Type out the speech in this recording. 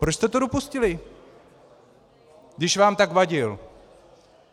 Proč jste to dopustili, když vám tak vadil?